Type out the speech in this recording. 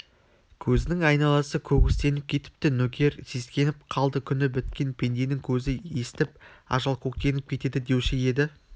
көзінің айналасы көгістеніп кетіпті нөкер сескеніп қалды күні біткен пенденің көзі естіп ажалкөктеніп кетеді деуші еді